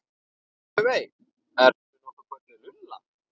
Laufey- ertu nokkuð kölluð Lulla?